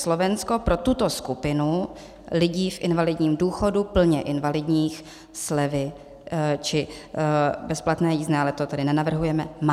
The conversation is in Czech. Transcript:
Slovensko pro tuto skupinu lidí v invalidním důchodu, plně invalidních, slevy či bezplatné jízdné - ale to tady nenavrhujeme - má.